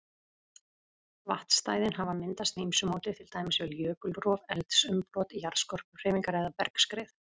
Vatnsstæðin hafa myndast með ýmsu móti, til dæmis við jökulrof, eldsumbrot, jarðskorpuhreyfingar eða bergskrið.